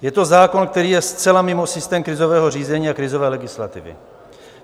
Je to zákon, který je zcela mimo systém krizového řízení a krizové legislativy.